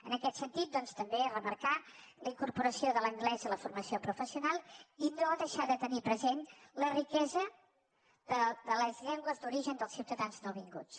en aquest sentit doncs també remarcar la incorporació de l’anglès a la formació professional i no deixar de tenir present la riquesa de les llengües d’origen dels ciutadans nouvinguts